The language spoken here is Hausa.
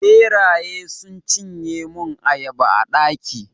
ɓeraye sun cinye mun ayaba a daki